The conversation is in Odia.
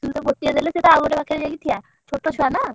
ତୁ ତ ଗୋଟିଏ ଦେଲେ ସିଏତ ଆଉ ଗୋଟେ ପାଖରେ ଯାଇ ଠିଆ ଛୋଟ ଛୁଆ ନା।